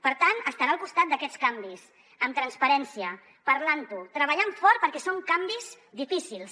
per tant estarà al costat d’aquests canvis amb transparència parlant ho treballant fort perquè són canvis difícils